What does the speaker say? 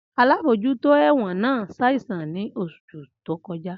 Alabojuto ẹ̀wọ̀n naa saìsàn ni oṣu to kọja.